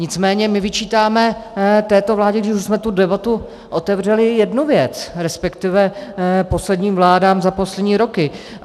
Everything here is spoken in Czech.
Nicméně my vyčítáme této vládě, když už jsme tu debatu otevřeli, jednu věc, respektive posledním vládám za poslední roky.